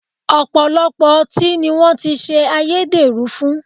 Ọ̀pọ̀lọpọ̀ ọtí ni wọ́n ti ṣe ayédèrú fún